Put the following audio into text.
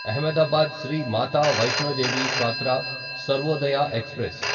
Ahmedabad Shri Mata Vaishno Devi Katra Sarvodaya express